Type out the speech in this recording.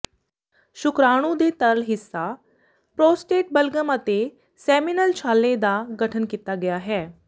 ਸ਼ੁਕਰਾਣੂ ਦੇ ਤਰਲ ਹਿੱਸਾ ਪ੍ਰੋਸਟੇਟ ਬਲਗਮ ਅਤੇ ਸੈਮੀਨਲ ਛਾਲੇ ਦਾ ਗਠਨ ਕੀਤਾ ਗਿਆ ਹੈ